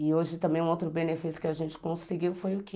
E hoje, também, um outro benefício que a gente conseguiu foi o quê?